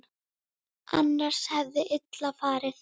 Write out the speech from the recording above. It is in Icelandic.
Annars hefði illa farið.